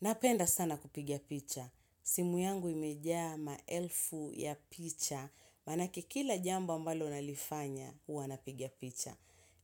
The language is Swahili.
Napenda sana kupiga picha. Simu yangu imejaa ma elfu ya picha, maanake kila jambo ambalo nalifanya, huwa napiga picha.